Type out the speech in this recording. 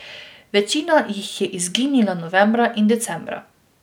Večina jih je izginila novembra in decembra.